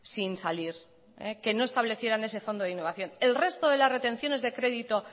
sin salir que no establecieran ese fondo de innovación el resto de las retenciones de crédito